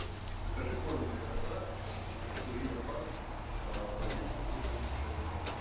закажи корм для кота пурина ван в пакетиках по семьдесят пять грамм